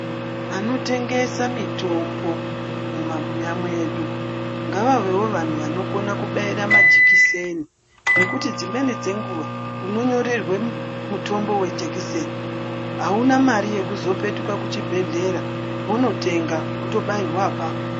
Vanotengesa mitombo mumabuya mwedu ngavavewo vanhu vanokona kubaira majekiseni nokuti dzimweni dzenguwa unonyorerwa mutombo wejikiseni hauna mare yekuzopetuka kuchibhehlera wototenga wotobairwa apapo.